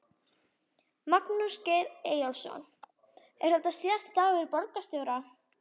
Magnús Geir Eyjólfsson: Er þetta síðasti dagur borgarstjóra?